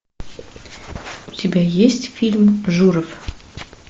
у тебя есть фильм журов